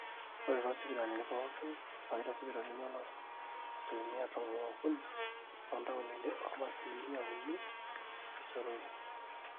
ore toosipitalini pooki, ewaita sipilani ooloopeny asilimia tomon ookuni toontaoni obasilimia uni ooseroi